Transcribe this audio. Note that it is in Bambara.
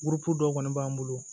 dɔw kɔni b'an bolo